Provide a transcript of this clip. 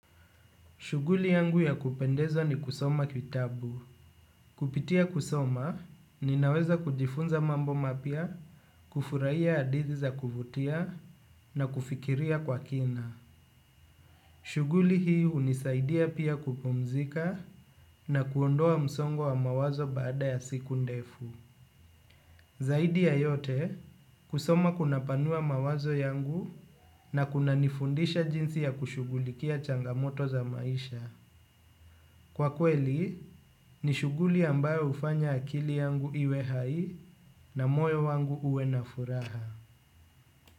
Shughuli yangu ya kupendezwa ni kusoma kitabu. Kupitia kusoma, ninaweza kujifunza mambo mapya, kufurahia hadithi za kuvutia na kufikiria kwa kina. Shughuli hii hunisaidia pia kupumzika na kuondoa msongo wa mawazo baada ya siku ndefu. Zaidi ya yote, kusoma kunapanua mawazo yangu na kunanifundisha jinsi ya kushughulikia changamoto za maisha. Kwa kweli, ni shughuli ambayo hufanya akili yangu iwe hai na moyo wangu uwe na furaha.